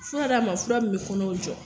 Fura d'a ma, fura min bɛ kɔnɔw jɔ